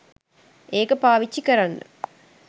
ඒක පාවිච්චි කරන්න